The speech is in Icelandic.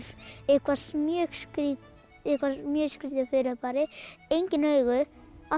mjög skrítið mjög skrítið fyrirbæri engin augu